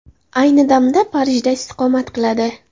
Ayni damda Parijda istiqomat qiladi.